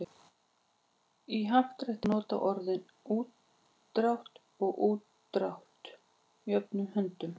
Í happdrætti má nota orðin útdrátt og úrdrátt jöfnum höndum.